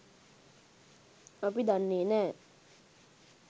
අපි දන්නේ නෑ.